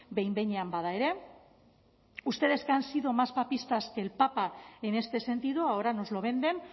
behin behinean bada ere ustedes que han sido más papistas que el papa en este sentido ahora nos lo venden